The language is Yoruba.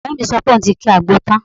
Ọ̀rẹ́ mi sọ pé òun ti ki àgbo tán